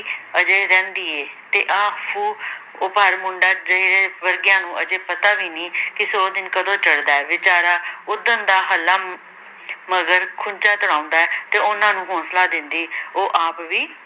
ਅਜੇ ਰਹਿੰਦੀ ਏ ਤੇ ਆਹ ਫ਼ੂਹ ਭਰ ਮੁੰਡਾ ਜੀਹਦੇ ਵਰਗਿਆਂ ਨੂੰ ਅਜੇ ਪਤਾ ਵੀ ਨ੍ਹੀਂ ਕਿ ਸੌਂ ਦਿਨ ਕਦੋਂ ਚੜ੍ਹਦਾ ਹੈ, ਬੇਚਾਰਾ ਓਦਣ ਦਾ ਹਲਾਂ ਮਗਰ ਖੁੱਚਾਂ ਤੁੜਾਉਂਦਾ ਹੈ ਤੇ ਉਹਨਾਂ ਨੂੰ ਹੌਸਲਾ ਦਿੰਦੀ ਉਹ ਆਪ ਵੀ